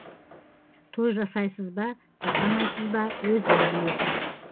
той жасайсыз ба жасамайсыз ба өзіңіз білесіз